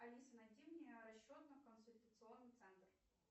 алиса найди мне расчетно консультационный центр